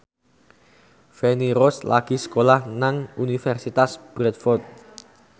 Feni Rose lagi sekolah nang Universitas Bradford